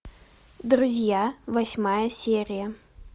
друзья восьмая серия